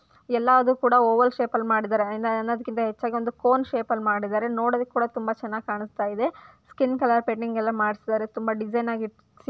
ಎಲ್ಲದು ಕೂಡ oval shape ಅಲ್ ಮಾಡಿದರೆ ಎಲ್ಲದಕ್ಕಿಂತ ಹೆಚ್ಚಗಿ ಒಂದು ಕೋನ್ ಶೇಪ್ ಅಲ್ಲಿ ಮಾಡಿದರೆ ನೋಡೋದಿಕ್ಕೂ ಕೂಡ ತುಂಬ ಚೆನ್ನಾಗಿ ಕಾಣ್ಸ್ತ ಇದೆ ಸ್ಕಿನ್ ಕಲರ್ ಪೆಂಡಿಂಗ್ ಎಲ್ಲ ಮಾಡಿಸಿದರೆ ತುಂಬ ಡಿಸೈನ್ ಆಗಿ --